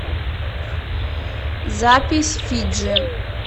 запись фиджи